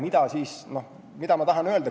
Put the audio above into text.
Mida ma tahan öelda?